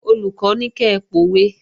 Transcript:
Olùkọ́ ní kẹ pòwe!